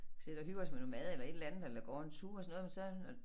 Sidder og hygger os med noget mad eller et eller andet eller går en tur og sådan noget men så når